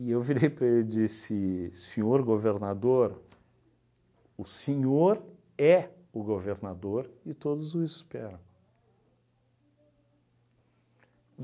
E eu virei para ele e disse, senhor governador, o senhor é o governador e todos o esperam.